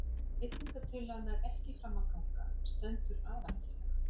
Ef breytingatillaga nær ekki fram að ganga stendur aðaltillaga.